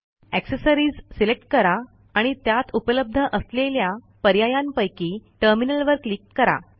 accessories select करा आणि त्यात उपलब्ध असलेल्या पर्यायांपैकी टर्मिनल वर क्लिक करा